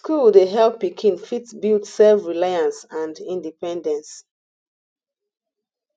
school dey help pikin fit build self reliance and independence